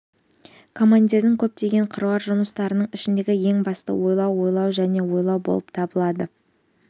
командирдің көптеген қыруар жұмыстарының ішіндегі ең бастысы ойлау ойлау және ойлау болып табылады